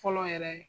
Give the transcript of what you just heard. Fɔlɔ yɛrɛ